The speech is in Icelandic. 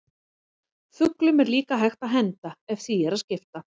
Fuglum er líka hægt að henda ef því er að skipta.